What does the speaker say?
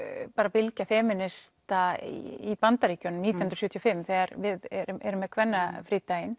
bylgja í Bandaríkjunum nítján hundruð sjötíu og fimm þegar við erum erum með kvennafrídaginn